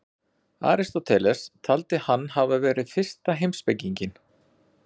Aristóteles taldi hann hafa verið fyrsta heimspekinginn.